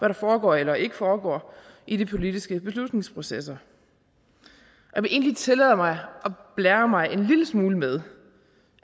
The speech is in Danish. der foregår eller ikke foregår i de politiske beslutningsprocesser jeg vil egentlig tillade mig at blære mig en lille smule med